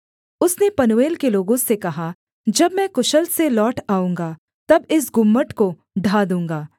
उसने पनूएल के लोगों से कहा जब मैं कुशल से लौट आऊँगा तब इस गुम्मट को ढा दूँगा